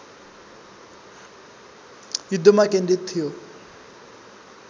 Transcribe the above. युद्धमा केन्द्रित थियो